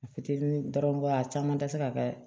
A fitinin dɔrɔn a caman tɛ se ka kɛ